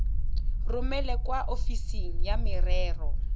romele kwa ofising ya merero